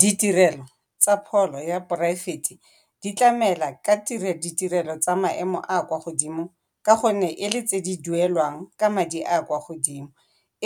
Ditirelo tsa pholo tsa poraefete di tlamela ka ditirelo tse di kwa godimo ka gonne e le tse di duelwang ka madi a a kwa godimo.